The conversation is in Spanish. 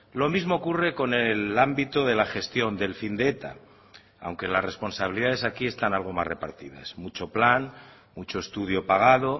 lo mismo ocurre con el ámbito de la gestión del fin de eta aunque las responsabilidades aquí están algo más repartidas mucho plan mucho estudio pagado